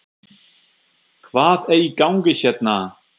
HVAÐ ER Í GANGI HÉRNA????